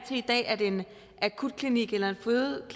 i dag at en akutklinik eller